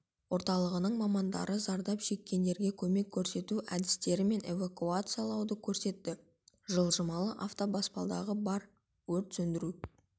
орталығының мамандары зардап шеккендерге көмек көрсету әдістері мен эвакуациялауды көрсетті жылжымалы автобаспалдағы бар өрт сөндіру